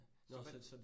Nåh hvad